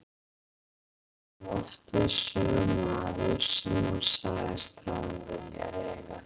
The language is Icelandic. Þar kom oft við sögu maður sem hún sagðist hafa viljað eiga.